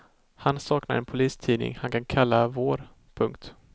Han saknar en polistidning han kan kalla vår. punkt